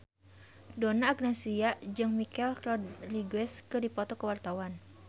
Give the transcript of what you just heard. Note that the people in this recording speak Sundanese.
Donna Agnesia jeung Michelle Rodriguez keur dipoto ku wartawan